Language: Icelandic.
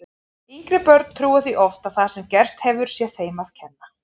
Yngri börn trúa því oft að það sem gerst hefur sé þeim að kenna.